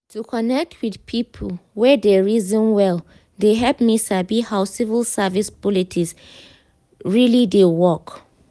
to connect with people wey dey reason well dey help me sabi how civil service politics really dey work.